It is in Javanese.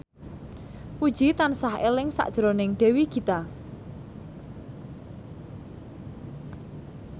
Puji tansah eling sakjroning Dewi Gita